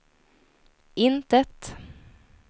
intet